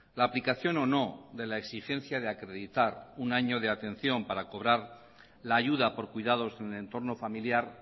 la aplicación o no de la exigencia de acreditar un año de atención para cobrar la ayuda por cuidados en el entorno familiar